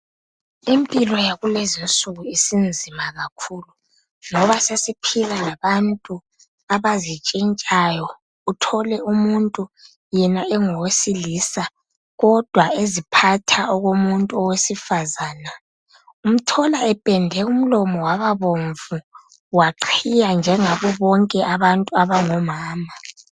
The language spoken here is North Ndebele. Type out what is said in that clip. Impilo yakulezi insuku isinzima kakhulu ngoba sesiphila labantu abazitshitshayo uthole umuntu yena ongowesilisa kodwa eziphatha okomuntu owesifazana umthola empende umlomo wababomvu waqhiya njengabobonke abantu abangomama.